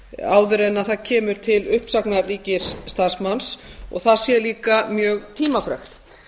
áður en það kemur til uppsagnar ríkisstarfsmanns og það sé líka mjög tímafrekt